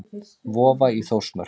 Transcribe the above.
Vofa í Þórsmörk.